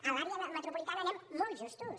a l’àrea metropolitana anem molt justos